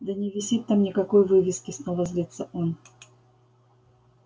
да не висит там никакой вывески снова злится он